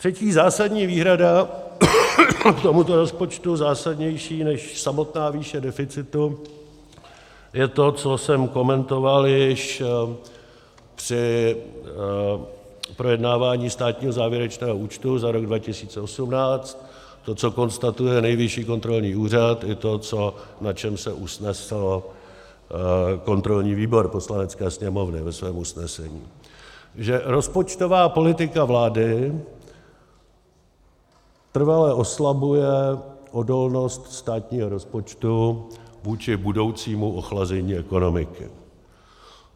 Třetí zásadní výhrada k tomuto rozpočtu, zásadnější než samotná výše deficitu, je to, co jsem komentoval již při projednávání státního závěrečného účtu za rok 2018, to, co konstatuje Nejvyšší kontrolní úřad, i to, na čem se usnesl kontrolní výbor Poslanecké sněmovny ve svém usnesení, že rozpočtová politika vlády trvale oslabuje odolnost státního rozpočtu vůči budoucímu ochlazení ekonomiky.